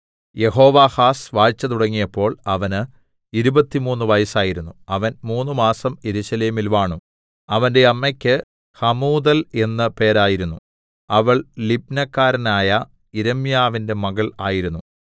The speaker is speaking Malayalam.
യെഹോവാഹാസ് വാഴ്ച തുടങ്ങിയപ്പോൾ അവന് ഇരുപത്തിമൂന്ന് വയസ്സായിരുന്നു അവൻ മൂന്നുമാസം യെരൂശലേമിൽ വാണു അവന്റെ അമ്മക്ക് ഹമൂതൽ എന്ന് പേരായിരുന്നു അവൾ ലിബ്നക്കാരനായ യിരെമ്യാവിന്റെ മകൾ ആയിരുന്നു